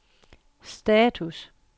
status